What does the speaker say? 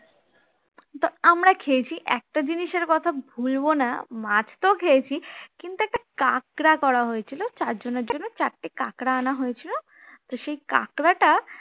কিন্তু আমরা খেয়েছি একটা জিনিসের কথা ভুলবো না মাছ তো খেয়েছি কিন্তু একটা কাঁকড়া করা হয়েছিল চারজনের জন্য চারটে কাঁকড়া আনা হয়েছিল তো সেই কাকড়া টা